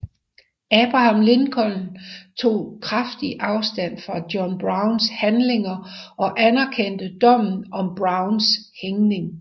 Abraham Lincoln tog kraftigt afstand fra John Browns handlinger og anerkendte dommen om Browns hængning